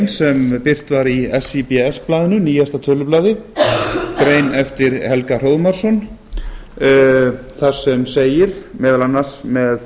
sem birt var í sé blaðinu nýjasta tölublaði grein eftir helga hróðmarsson þar sem segir meðal annars með